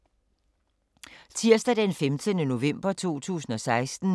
Tirsdag d. 15. november 2016